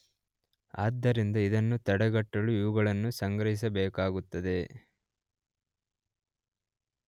ಆದ್ದರಿಂದ ಇದನ್ನು ತಡೆಗಟ್ಟಲು ಇವುಗಳನ್ನು ಸಂಗ್ರಹಿಸಬೇಕಾಗುತ್ತದೆ.